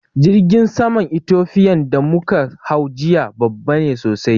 Jirgin saman Ethofian da muka hau jiya babba ne sosai